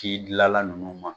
ti dilala ninnu ma.